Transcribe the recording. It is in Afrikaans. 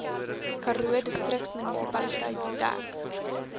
karoo distriksmunisipaliteit dek